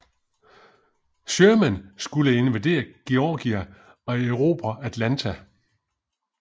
Sherman skulle invadere Georgia og erobre Atlanta